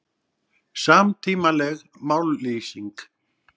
Samtímaleg mállýsing